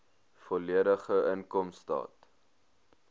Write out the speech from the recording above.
volledige inkomstestaat